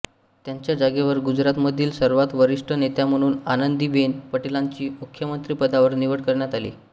त्यांच्या जागेवर गुजरातमधील सर्वात वरिष्ठ नेत्या म्हणून आनंदीबेन पटेलांची मुख्यमंत्रीपदावर निवड करण्यात आली